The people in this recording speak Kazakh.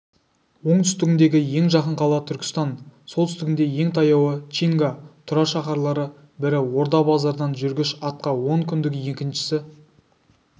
оңтүстігіндегі ең жақын қала түркістан солтүстігінде ең таяуы чинга тұра шаһарлары бірі орда-базардан жүргіш атқа он күндік екіншісі